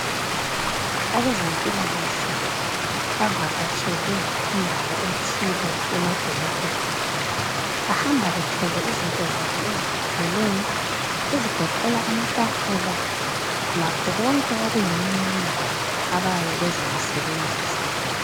Abezempilakahle bavakatshele indawo ethile emadolobheni. Bahamba bethwele izinto zabo ezikwanileyo ezigoqela amatafula lakho konke okuyimininingwane abayabe bezakusebenzisa.